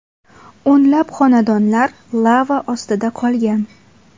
O‘nlab xonadonlar lava ostida qolgan.